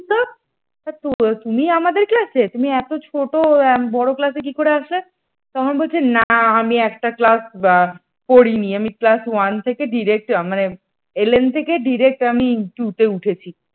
তুমি আমাদের class এ। তুমি এত ছোট বড় class এ কি করে আসবে তখন বলছে না আমি একটা class বা করিনি আমি class one থেকে direct মানে এলেন থেকে direct আমি two তে উঠেছি ।